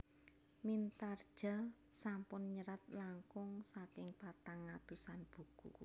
Mintardja sampun nyerat langkung saking patang atusan buku